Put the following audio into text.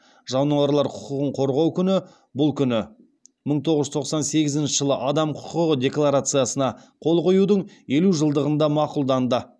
жануарлар құқығын қорғау күні бұл күні мың тоғыз жүз тоқсан сегізінші жылы адам құқығы декларациясына қол қоюдың елу жылдығында мақұлданды